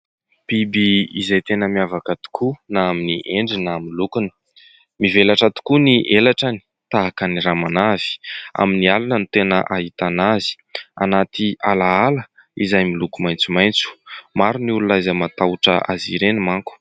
Biby izay tena miavaka tokoa na amin'ny endriny, na amin'ny lokony. Mivelatra tokoa ny elatrany tahaka ny ramanavy. Amin'ny alina no tena ahitana azy, anaty alaala izay miloko maitsomaitso. Maro ny olona izay matahotra azy ireny manko.